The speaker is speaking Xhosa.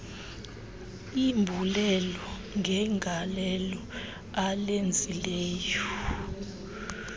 embulela ngegalelo alenzileyo